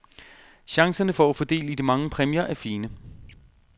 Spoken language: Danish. Chancerne for at få del i de mange præmier er fine.